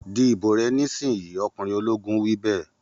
Di ìbò rẹ nísìínyi! Ọkùnrin ológun wí bẹ́ẹ̀.